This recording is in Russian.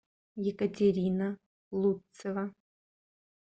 екатерина лутцева